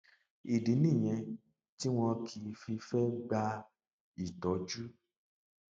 ìdí nìyẹn tí wọn kì í fi í fẹ gba ìtọjú